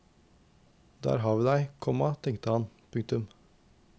Der har vi deg, komma tenkte han. punktum